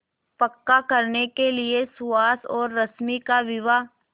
पक्का करने के लिए सुहास और रश्मि का विवाह